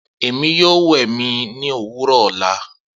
Emi yoo wẹ mi ni owurọ ọla.